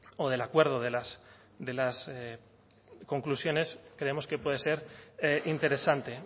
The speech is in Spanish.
o del acuerdo de las conclusiones creemos que puede ser interesante